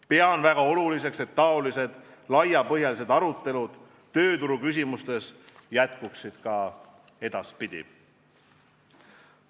Pean väga oluliseks, et niisugused laiapõhjalised arutelud tööturu küsimustes jätkuvad ka edaspidi.